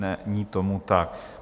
Není tomu tak.